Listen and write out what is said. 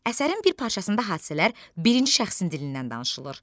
Əsərin bir parçasında hadisələr birinci şəxsin dilindən danışılır.